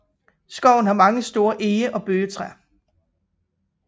Skoven har mange store ege og bøgetræer